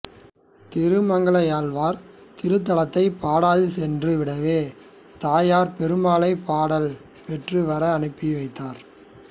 திருமங்கையாழ்வார் இத்திருத்தலத்தைப் பாடாது சென்று விடவே தாயார் பெருமாளைப் பாடல் பெற்று வர அனுப்பி வைத்தார்